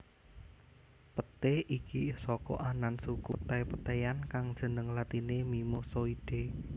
Peté iki saka anan suku petai petaian kang jeneng latiné Mimosoidae